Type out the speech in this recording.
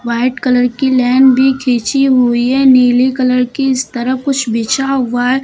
White colour की line भी खींची हुई है नीली कलर की इस तरफ कुछ बिछा हुआ है।